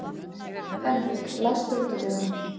Henrik, læstu útidyrunum.